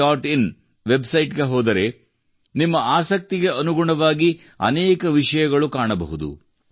in ವೆಬ್ಸೈಟ್ಗೆ ಹೋದರೆ ನಿಮ್ಮ ಆಸಕ್ತಿಗೆ ಅನುಗುಣವಾಗಿ ಅನೇಕ ವಿಷಯಗಳು ಕಾಣಬಹುದು